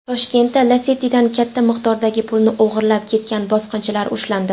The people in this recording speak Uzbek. Toshkentda Lacetti’dan katta miqdordagi pulni o‘g‘irlab ketgan bosqinchilar ushlandi.